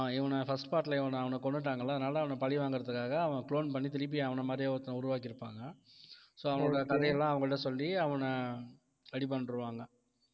இவனை first part ல இவனை அவனைக் கொன்னுட்டாங்கல்ல அதனால அவனைப் பழிவாங்குறதுக்காக அவன் clone பண்ணி, திருப்பி அவன மாதிரியே ஒருத்தனை உருவாக்கியிருப்பாங்க so அவங்களோட கதையெல்லாம் அவங்ககிட்ட சொல்லி அவனை ready பண்ணிடுவாங்க